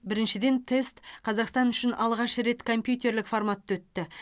біріншіден тест қазақстан үшін алғаш рет компьютерлік форматта өтті